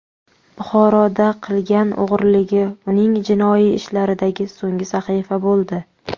Buxoroda qilgan o‘g‘riligi uning jinoiy ishlaridagi so‘nggi sahifa bo‘ldi.